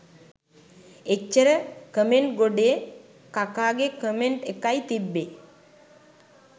එච්චර කමෙන්ට් ගොඩේ කකාගෙ කමෙන්ට් එකයි තිබ්බෙ